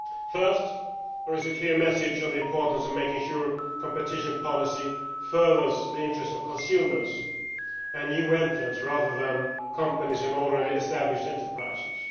First there is a clear message on the importance of making sure that competition policy furthers the interests of consumers and new entrants, rather than companies that are already established enterprises.